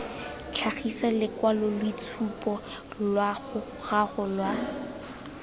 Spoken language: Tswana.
tlhagisa lokwaloitshupu lwa gago lwa